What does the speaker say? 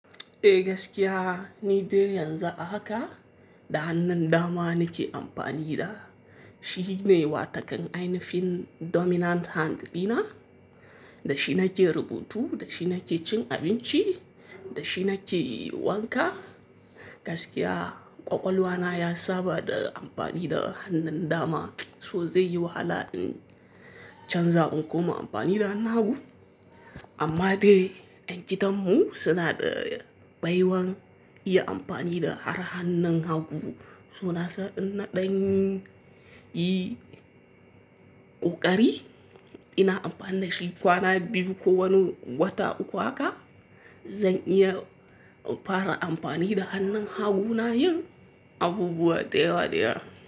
Eh gaskiya, ni dai yanzu haka da hannun dama nake amfani da. Shi ne watakan ainifin dominant hand dina, da shi nake rubutu, da shi nake cin abinci, da shi nake wanka. Gaskiya ƙwaƙwalwa na ya saba da amfani da hannun dama, so zai yi wahala in canza in koma amfani da hannu hagu. Amma dai en gidan mu suna da baiwan iya amfani da har hannun hagu. So nasa ina danyi yi ƙoƙari, ina amfani da shi. Kwana biyu ko wani wata uku haka zan iya fara amfani da hannun hagu na yin abubuwa da yawa da yawa.